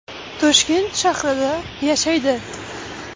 Toshkent shahrida yashaydi.